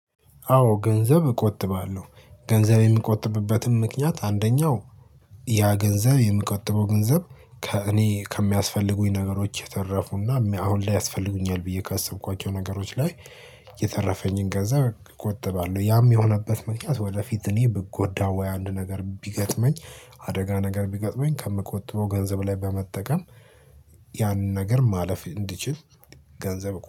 አዎ ገንዘብ እቆጥባለሁ ገንዘብ የምቆጥብበትም ምክንያት አንደኛው ያ ገንዘብ የምቆጥበው ገንዘብ ከእኔ ከሚያስፈልጉኝ ነገሮች የተረፉና አሁን ላይ ያስፈልጉኛል ብዬ ካሰብኳቸው ነገሮች ላይ የተረፈኝን ገንዘብ እቆጥባለሁ። ያም የሆነበት ምክንያት ወደፊት እኔ ብጎዳ ወይ አንድ ነገር ቢገጥመኝ አደጋ ነገር ቢገጥመኝ ከምቆጥበው ገንዘብ ላይ በመጠቀም። ያንን ነገር ማለፍ እንድትችል ገንዘብ